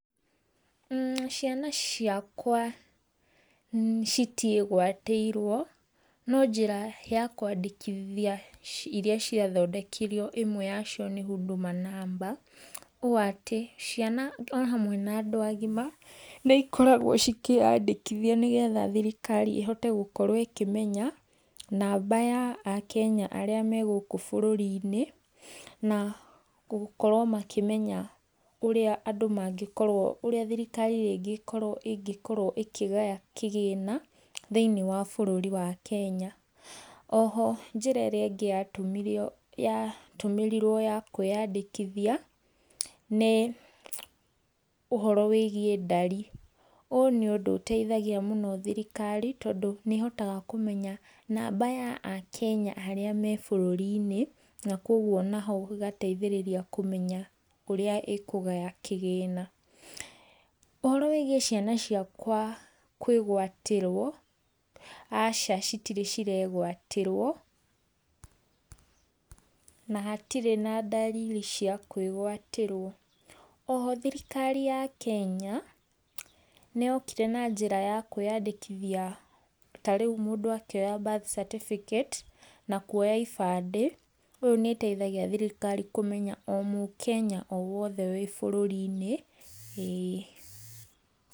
Ciana ciakwa citiĩgwatĩirwo, no njĩra ya kwandĩkithia iria ciathondekirwo ĩmwe ya cio nĩ Huduma Number, ũũ atĩ ciana o hamwe na andũ agima, nĩ ikoragwo cikĩyandĩkithia nĩgetha thirikari ĩhote gũkorwo ĩkĩmenya namba ya akenya arĩa me gũkũ bũrũri-inĩ, na gũkorwo makĩmenya ũrĩa andũ mangĩkorwo, ũrĩa thirikari rĩngĩ ĩkorwo ĩngĩkorwo ĩkĩgaya kĩgĩna, thĩinĩ wa bũrũri wa Kenya. Oho njĩra ĩrĩa ĩngĩ ya tũmirio, ya tũmĩrirwo ya kwĩyandĩkithia, nĩ ũhoro wĩgiĩ ndari, ũũ nĩ ũndũ ũteithagia mũno thirikari tondũ nĩ ĩhotaga kũmenya namba ya akenya arĩa me bũrũri-inĩ, na koguo naho ĩgateithĩrĩria kũmenya ũrĩa ĩkũgaya kĩgĩna. Ũhoro wĩgiĩ ciana ciakwa kwĩgwatĩrwo, aca citirĩ ciregwatĩrwo, na hatirĩ na ndariri cia kwĩgwatĩrwo. Oho thirikari ya Kenya, nĩ yokire na njĩra ya kwĩyandĩkithia ta rĩu mũndũ akĩoya birth certificate, na kuoya ibandĩ, ũyũ nĩ ĩteithagia thirikari kũmenya o mũkenya o wothe wĩ bũrũri-inĩ ĩĩ.